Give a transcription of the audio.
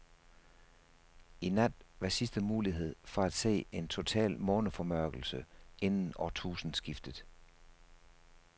I nat var sidste mulighed for at se en total måneformørkelse inden årtusindskiftet.